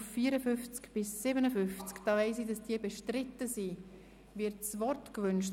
Wird zu diesen Artikeln das Wort gewünscht?